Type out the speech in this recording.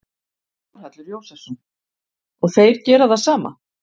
Þórhallur Jósefsson: Og þeir gera það sama?